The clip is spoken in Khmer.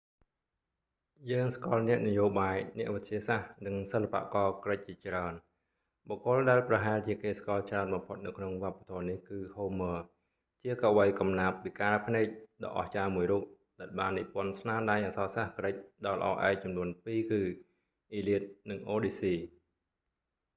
យើងស្គាល់អ្នកនយោបាយ អ្នកវិទ្យាសាស្ត្រ និងសិល្បករក្រិកជាច្រើន បុគ្គលដែលប្រហែលជាគេស្គាល់ច្រើនបំផុតនៅក្នុងវប្បធម៌នេះគឺ homer ហូមឺរ ជាកវីកំណាព្យពិការភ្នែកដ៏អស្ចារ្យមួយរូប ដែលបាននិពន្ធស្នាដៃអក្សរសាស្ត្រក្រិកដ៏ល្អឯកចំនួនពីគឺ iliad និង odyssey